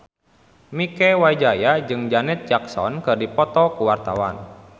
Mieke Wijaya jeung Janet Jackson keur dipoto ku wartawan